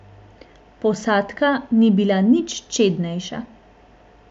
Posadka ni bila nič čednejša.